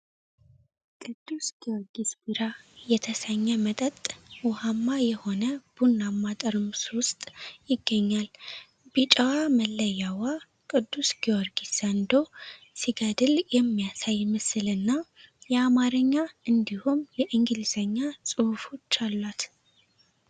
ቅዱስ ጊዮርጊስ ቢራ (St. George Beer) የተሰኘ መጠጥ ውሃማ የሆነ ቡናማ ጠርሙስ ውስጥ ይገኛል። ቢጫዋ መለያዋ ቅዱስ ጊዮርጊስ ዘንዶ ሲገድል የሚያሳይ ምስልና የአማርኛ እንዲሁም የእንግሊዝኛ ጽሁፎች አሏት።